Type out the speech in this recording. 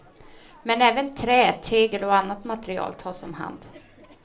Men även trä, tegel och annat material tas om hand.